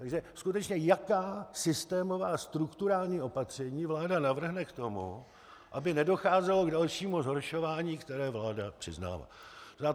Takže skutečně jaká systémová strukturální opatření vláda navrhne k tomu, aby nedocházelo k dalšímu zhoršování, které vláda přiznává.